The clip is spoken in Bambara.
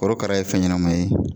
Korokara ye fɛn ɲɛnɛma ye